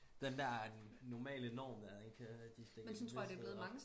Den der normale norm den kan de stikke et vist sted op